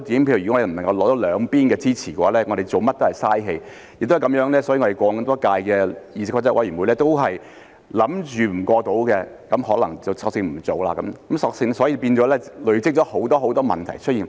亦因為這個原因，所以過往多屆的議事規則委員會預計無法通過的，可能便索性不做，故此變成累積了很多很多問題出現。